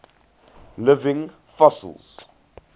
living fossils